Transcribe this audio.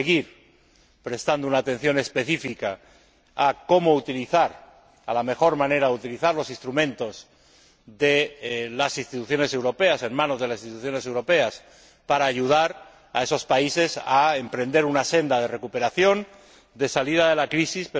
Hay que seguir prestando una atención específica a cómo utilizar, a la mejor manera de utilizar los instrumentos en manos de las Instituciones europeas, para ayudar a esos países a emprender una senda de recuperación de salida de la crisis.